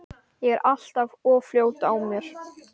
Ég er alltaf of fljót á mér.